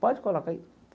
Pode colocar aí.